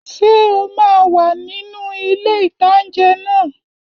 Ṣé o máa wà nínu ilé-ìtánjẹ náà?